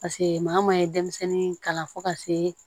Paseke maa ye denmisɛnnin kalan fo ka see